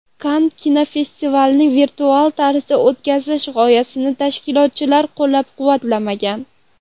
Kann kinofestivalini virtual tarzda o‘tkazish g‘oyasini tashkilotchilar qo‘llab-quvvatlamagan.